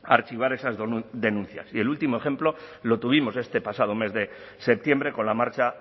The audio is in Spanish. archivar esas denuncias y el último ejemplo lo tuvimos este pasado mes de septiembre con la marcha